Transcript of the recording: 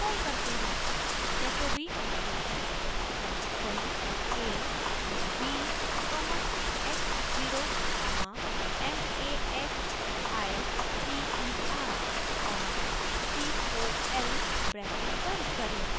jacobi iteration bracket खोलें a comma b comma x zero comma m a x i t e r comma t o l bracket बंद करें